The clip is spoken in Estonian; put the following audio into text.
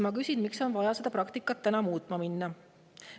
Ma küsin: miks on vaja minna seda praktikat muutma?